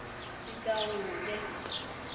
sitawuke